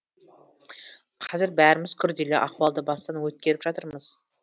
қазір бәріміз күрделі ахуалды бастан өткеріп жатырмыз